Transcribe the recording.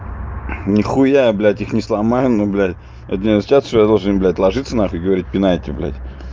нихуя блять их не сломаю но блять это не означает что я должен блять ложится нахуй и говорить пинайте блять